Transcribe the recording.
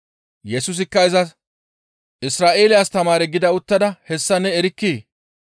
Yesusikka izas, «Isra7eele astamaare gida uttada hessa ne erkkii?